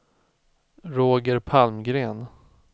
Roger Palmgren